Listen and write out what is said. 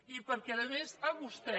i perquè a més a vostè